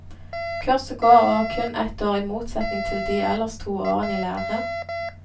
Kurset går over kun ett år i motsetning til de ellers to årene i lære.